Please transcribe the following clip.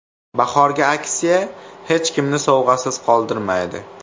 Bahorgi aksiya hech kimni sovg‘asiz qoldirmaydi!